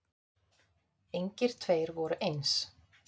Engir tveir voru eins.